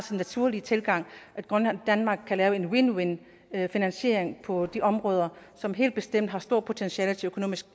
naturlige tilgang at grønland og danmark kan lave en win win finansiering på de områder som helt bestemt har stort potentiale til økonomisk